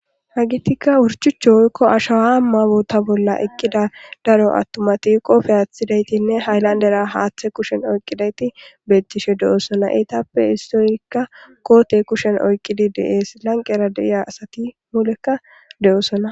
Haggeti wurchucha woykko ashshawa boota bolla eqqidi daaro attumati qoppe aththidaytinne haylandera haththe kushshen oyqqidayti bettishe de'ossona eetappe issoyka kootte kushshen oyqqidi de'es lanqqera dei'iya asati muulera de'ossona.